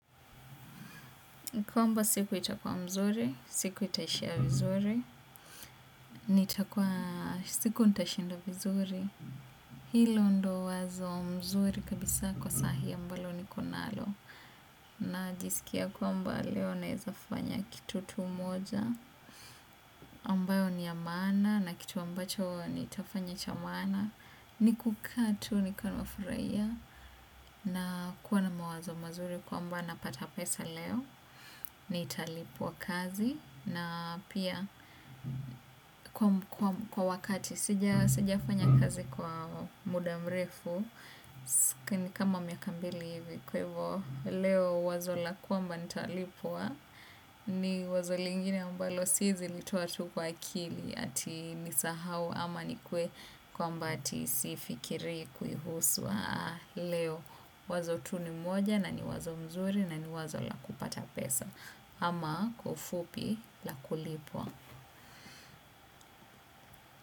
Kwamba siku itakuwa mzuri, siku itaishia vizuri, siku nitashinda vizuri. Hilo ndio wazo mzuri kabisa kwa sahi ambalo niko nalo. Najisikia kwamba leo naweza fanya kitu tu moja. Ambao ni ya maana na kitu ambacho ni tafanya cha maana. Ni kukaa tu, nikiwa nimefurahia. Na kuwa na mawazo mazuri kwamba napata pesa leo. Nitalipua kazi na pia kwa wakati sijafanya kazi kwa muda mrefu kama miaka mbili hivi kwa hivo leo wazo la kwamba nitalipwa ni wazo lingine ambalo si zilitoa tu kwa kili ati nisahau ama nikuwe kwamba ati sifikirii kuihusu leo wazo tu ni moja na ni wazo mzuri na ni wazo la kupata pesa ama kwa ufupi la kulipwa.